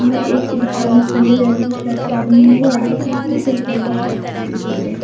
ने एक इंसान में पीले रंग की शर्ट पहनी हुई है और एक ने सफेद रंग की शर्ट पहनी हुई है।